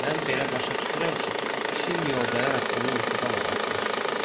Mən belə başa düşürəm ki, pişiyin mıyoldayaraq onu yuxudan oyatmışdı.